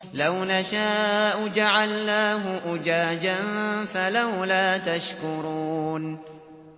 لَوْ نَشَاءُ جَعَلْنَاهُ أُجَاجًا فَلَوْلَا تَشْكُرُونَ